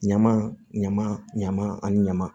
Ɲama ɲama ɲama ani ɲama